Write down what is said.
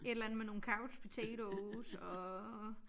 Et eller andet med nogle couch potatoes og